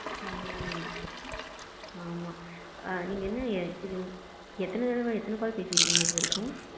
ம்ம ம் நீங்க எத்தன தடவை எத்தன call பேசி இருக்கீங்க இது வரைக்கும்?